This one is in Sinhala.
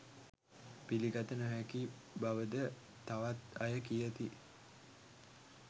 පිළිගත නොහැකි බවද තවත් අය කියති